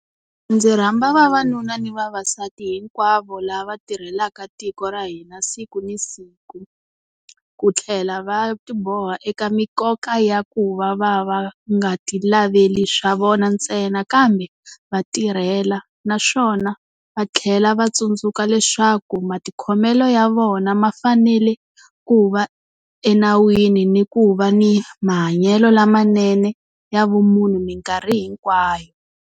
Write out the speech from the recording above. Ndzi rhamba vanuna ni vavasati hinkwavo lava tirhelaka tiko ra hina siku na siku ku tlhela va tiboha eka mikoka ya ku va va va nga tilaveli swa vona ntsena kambe va tirhela, naswona va tlhela va tsundzuka leswaku matikhomelo ya vona ma fanele ku va enawini ni ku va ni mahanyelo lamanene ya vumunhu minkarhi hinkwayo.